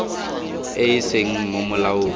e e seng mo molaong